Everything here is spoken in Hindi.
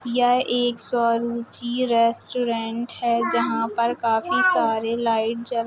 यह एक श्वरुचि रेस्टोरेंट है जहाँ पर काफी सारे लाईट जल रहे --